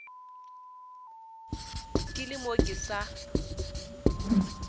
ke le mo ke sa